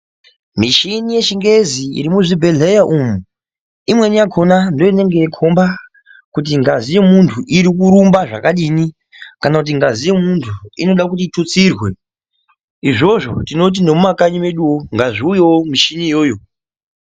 Michini yechingezi iri muzvibhedhleya umu. Imweni yakona ndiyo inenge yeikomba kuti ngazi yemuntu iri kurumba zvakadini. Kana kuti ngazi yemuntu anoda kuti itutsirwe izvozvo tinoti nemumakanyi meduvo ngaziuyevo michini iyoyo.